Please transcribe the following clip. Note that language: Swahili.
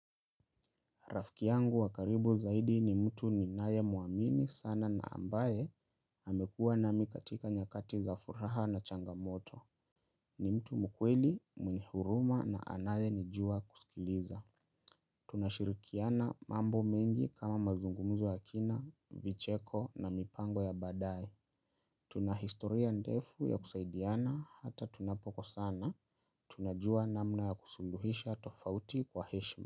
Rafki yangu wa karibu zaidi ni mtu ninayemuamini sana na ambaye amekuwa nami katika nyakati za furaha na changamoto. Ni mtu mkweli, mwenye huruma na anayenijua kusikiliza. Tunashirikiana mambo mengi kama mazungumzo ya kina, vicheko na mipango ya baadaye. Tunahistoria ndefu ya kusaidiana hata tunapokosana. Tunajua namna ya kusuluhisha tofauti kwa heshima.